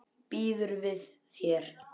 Býður við þér.